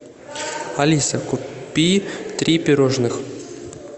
алиса купи три пирожных